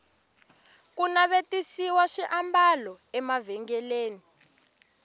ku navetisiwa swiambalo emavhengeleni